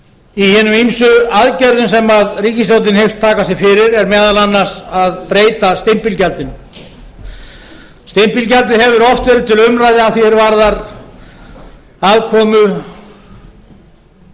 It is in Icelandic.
í hinum ýmsu aðgerðum sem ríkisstjórnin hyggst taka sér fyrir er meðal annars að breyta stimpilgjaldinu stimpilgjaldið hefur oft verið til umræðu að því er varðar aðkomu